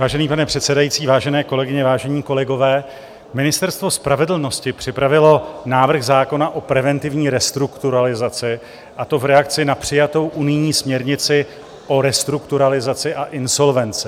Vážený pane předsedající, vážené kolegyně, vážení kolegové, Ministerstvo spravedlnosti připravilo návrh zákona o preventivní restrukturalizaci, a to v reakci na přijatou unijní směrnici o restrukturalizaci a insolvenci.